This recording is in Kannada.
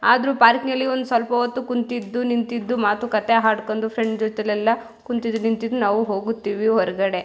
ಆದ್ರೂ ಪಾರಕ್ನಲ್ಲಿ ಒಂದ್ ಸ್ವಲ್ಪ ಓತ್ತು ಕುಂತಿದ್ದು ನಿಂತಿದ್ದು ಮಾತು ಕಥೆ ಹಾಡ್ಕೊಂಡು ಫ್ರೆಂಡ್ಸ್ ಜೊತೆ ಎಲ್ಲ ಕುಂತಿದೂ ನಿಂತಿದ್ದು ನಾವು ಹೋಗತೀವಿ ಓರ್ಗಡೆ.